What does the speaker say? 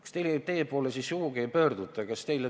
Kas sel teemal teie poole sugugi ei pöörduta?